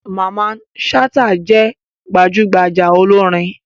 Mamman Shata je gbajugbaja olorin.